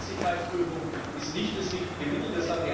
Die Zuverlässigkeitsprüfung ist nicht das richtige Mittel.